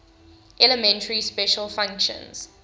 elementary special functions